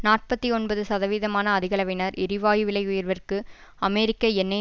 நாற்பத்தி ஒன்பது சதவீதமான அதிகளவினர் எரிவாயு விலை உயர்விற்கு அமெரிக்க எண்ணெய்